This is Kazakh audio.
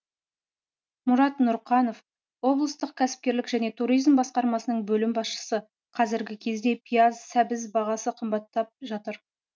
мұрат нұрқанов облыстық кәсіпкерлік және туризм басқармасының бөлім басшысы қазіргі кезде пияз сәбіз бағасы қымбаттап жатыр